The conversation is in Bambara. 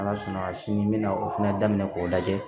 Ala sɔnna sini n bɛna o fana daminɛ k'o lajɛ